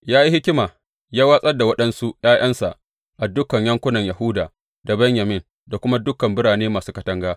Ya yi hikima, ya watsar da waɗansu ’ya’yansa a dukan yankunan Yahuda da Benyamin, da kuma a dukan birane masu katanga.